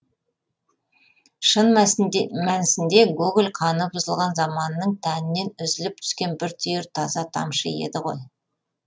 шын мәнісінде гоголь қаны бұзылған заманының тәнінен үзіліп түскен бір түйір таза тамшы еді ғой